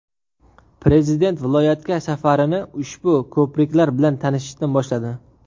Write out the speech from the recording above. Prezident viloyatga safarini ushbu ko‘priklar bilan tanishishdan boshladi.